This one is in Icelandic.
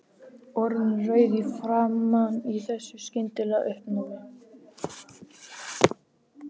Orðin rauð í framan í þessu skyndilega uppnámi.